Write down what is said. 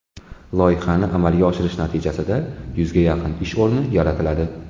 Loyihani amalga oshirish natijasida yuzga yaqin ish o‘rni yaratiladi.